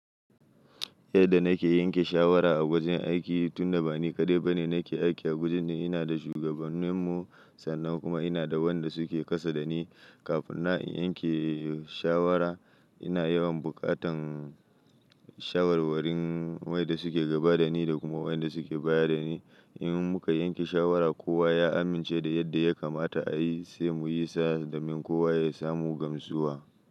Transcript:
Yadda na ke yanke shawara a wajen aiki, tun da ba ni kaɗai ba ne na ke aiki a wajen ne. Ina da shugaban mu, sannan kuma ina da wanda su ke kasa da ni. Kafin na in yanke shawara, ina yawan bukatan shawarwarin wayanda su ke gaba da ni da kuma wayanda su ke baya da ni. In muka yanke shawara, kowa ya amince da yadda ya kamata a yi, sai mu yi sa, domin kowa ya samu gamsuwa.